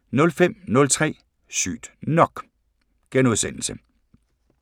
05:03: Sygt nok *